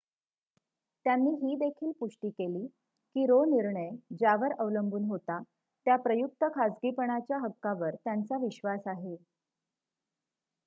त्यांनी ही देखील पुष्टी केली की रो निर्णय ज्यावर अवलंबून होता त्या प्रयुक्त खासगीपणाच्या हक्कावर त्यांचा विश्वास आहे